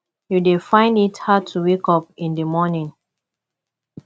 you dey find it hard to wake up in di morning